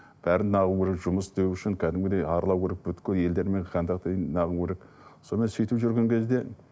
бәрін керек жұмыс істеу үшін кәдімгідей аралау керек елдермен контакты керек сонымен сөйтіп жүрген кезде